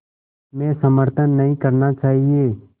में समर्थन नहीं करना चाहिए